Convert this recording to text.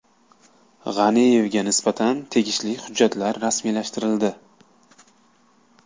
G‘aniyevga nisbatan tegishli hujjatlar rasmiylashtirildi.